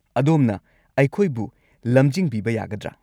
ꯑꯗꯣꯝꯅ ꯑꯩꯈꯣꯏꯕꯨ ꯂꯝꯖꯤꯡꯕꯤꯕ ꯌꯥꯒꯗ꯭ꯔꯥ?